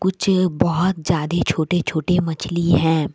कुछ ये बहुत ज्यादे छोटे छोटे मछली है।